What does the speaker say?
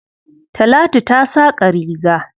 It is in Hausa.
Talatu ta saƙa riga.